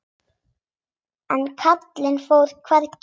En Kalli fór hvergi.